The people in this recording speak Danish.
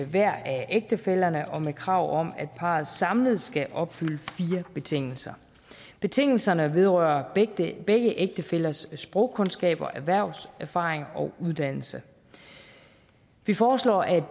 hver af ægtefællerne og med krav om at parret samlet skal opfylde fire betingelser betingelserne vedrører begge ægtefællers sprogkundskaber erhvervserfaring og uddannelse vi foreslår at